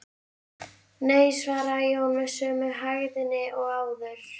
Nei, svaraði Jón með sömu hægðinni og áður.